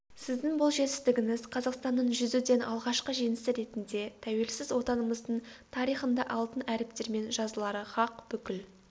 сіздің бұл жетістігіңіз қазақстанның жүзуден алғашқы жеңісі ретінде тәуелсіз отанымыздың тарихында алтын әріптермен жазылары хақ бүкіл